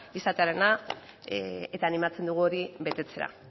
izatearena eta animatzen dugu hori betetzera